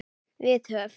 Við höf